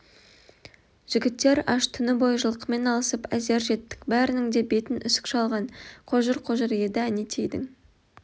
жігіттер аш түні бойы жылқымен алысып әзер жеттік бәрінің де бетін үсік шалған қожыр-қожыр еді әнетейдің